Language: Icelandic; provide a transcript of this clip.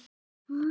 Gyrðir sig.